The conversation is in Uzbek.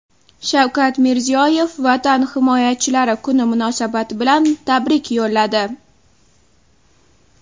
Shavkat Mirziyoyev Vatan himoyachilari kuni munosabati bilan tabrik yo‘lladi .